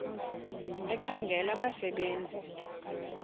ekhangela abasebe nzi